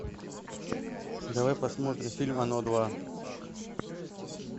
давай посмотрим фильм оно два